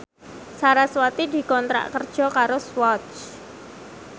sarasvati dikontrak kerja karo Swatch